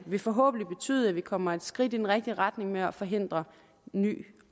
vil forhåbentlig betyde at vi kommer et skridt i den rigtige retning med at forhindre ny